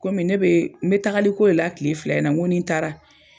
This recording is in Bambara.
Komi ne bee n be tagali ko la tile fila in na, ŋo ni n taara